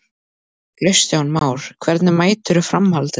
Kristján Már: Hvernig meturðu framhaldið?